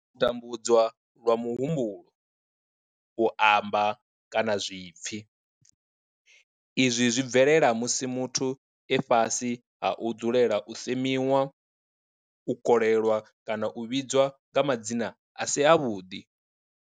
U tambudzwa lwa muhumbulo, u amba, kana zwipfi, Izwi zwi bvelela musi muthu e fhasi ha u dzulela u semiwa, u kolelwa kana u vhidzwa nga madzina a si avhuḓi.